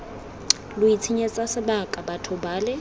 lo itshenyetsa sebaka batho bale